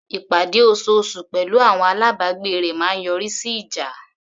Ìpàdé osoosù pẹ̀lú àwọn alábàgbé rẹ̀ máa ń yọrí sí ìjà.